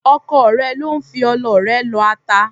Ọkọ rẹ ló ń fi ọlọ rẹ lọ ata.